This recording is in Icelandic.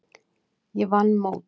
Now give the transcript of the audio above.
Ég vann mót.